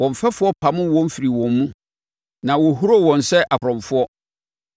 Wɔn mfɛfoɔ pamoo wɔn firii wɔn mu, na wɔhuroo wɔn sɛ akorɔmfoɔ.